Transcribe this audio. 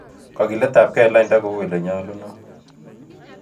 Kogiletap gee eng' lainda ko uu ilenyolunot